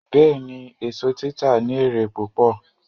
Bẹ́ẹ̀ni, èso títa ní èrè púpọ̀